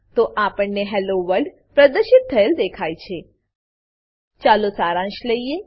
તો આપણને hello world પ્રદર્શિત થયેલ દેખાય છે ચાલો સારાંશ લઈએ